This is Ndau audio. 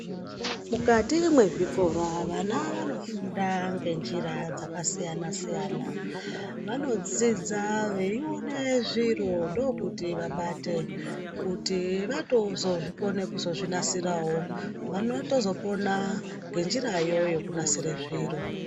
Mukati mwezvikora, vana vanofunda ngenjira dzakasiyana-siyana. Vanodzidze veione zviro ndiko kuti vabate, kuti vatozozvikona kuzvinasirawo. Vanotozopona ngenjirayo yekunasira zviro.